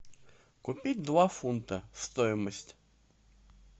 купить два фунта стоимость